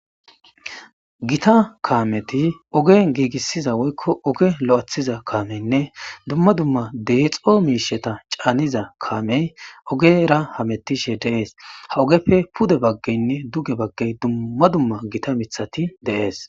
Gita kaameti oge giigissiza woykko oge lo'athiza kaameynne dumma dumma deexo miisheta caaniza kaamey ogera hamettishe de'ees. Ha ogeppe pude baggeynne duge baggey dumma dumma gita mithati de'ees.